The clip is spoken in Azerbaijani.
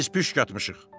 Biz püşk atmışıq.